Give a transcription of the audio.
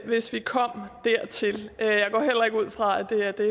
hvis vi kom dertil jeg går heller ikke ud fra at det er det